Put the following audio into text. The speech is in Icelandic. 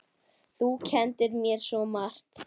Þú kenndir mér svo margt.